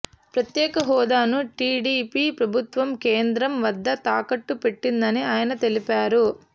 ప్రత్యేక హోదాను టీడీపీ ప్రభుత్వం కేంద్రం వద్ద తాకట్టు పెట్టిందని ఆయన తెలిపారు